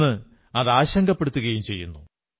ഇന്ന് അത് ആശങ്കപ്പെടുത്തുകയും ചെയ്യുന്നു